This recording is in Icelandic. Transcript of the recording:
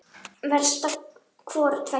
Verst ef hvoru tveggja er.